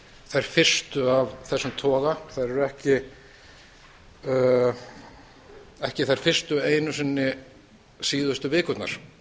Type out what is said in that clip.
þær fyrstu af þessum toga þær eru ekki þær fyrstu einu sinni síðustu vikurnar